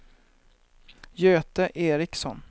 Göte Eriksson